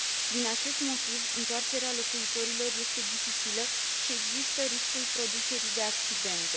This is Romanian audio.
Din acest motiv, întoarcerea locuitorilor este dificilă și există riscul producerii de accidente.